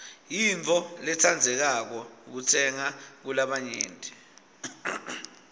yintfo lentsandzekako kutsenga kulabanyenti